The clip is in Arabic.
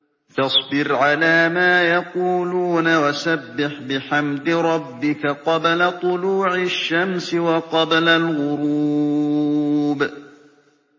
فَاصْبِرْ عَلَىٰ مَا يَقُولُونَ وَسَبِّحْ بِحَمْدِ رَبِّكَ قَبْلَ طُلُوعِ الشَّمْسِ وَقَبْلَ الْغُرُوبِ